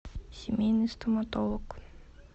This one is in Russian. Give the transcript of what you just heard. семейный стоматолог